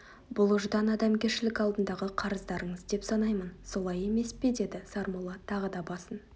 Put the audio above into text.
бұл ұждан адамгершілік алдындағы қарыздарыңыз деп санаймын солай емес пе деді сармолла тағы да басын